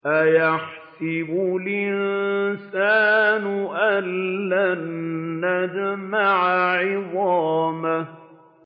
أَيَحْسَبُ الْإِنسَانُ أَلَّن نَّجْمَعَ عِظَامَهُ